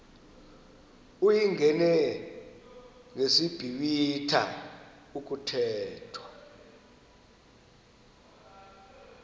uyingene ngesiblwitha kuthethwa